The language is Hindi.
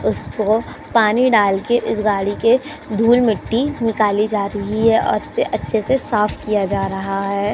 उसको पानी डालकर इस गाड़ी के धूल मिट्टी निकली जा रही है और उसे अच्छे से साफ किया जा रहा है।